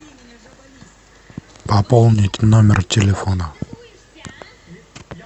пополнить номер телефона